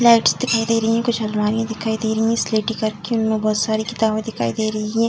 Lights दिखाई दे रहीं है कुछ अलमारी दिखाई दे रहीं हैं स्लेटी कलर की उनमें बहुत सारी किताबें दिखाई दे रहीं हैं।